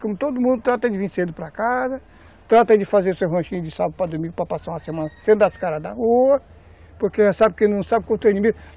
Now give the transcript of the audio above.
Como todo mundo trata de vir cedo para casa, trata de fazer seu ranchinho de sábado para domingo para passar uma semana sem dar as cara da rua, porque sabe sabe